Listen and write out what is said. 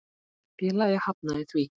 Félagið hafnaði því.